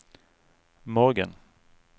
morgen